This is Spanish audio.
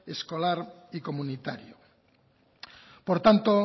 escolar y comunitario por tanto